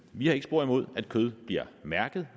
vi har ikke spor imod at kød bliver mærket